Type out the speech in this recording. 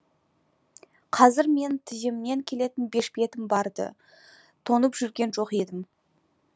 қазір менің тіземнен келетін бешпетім бар ды тоңып жүрген жоқ едім